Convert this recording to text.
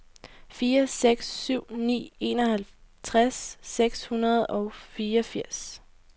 fire seks syv ni enoghalvtreds seks hundrede og fireogfirs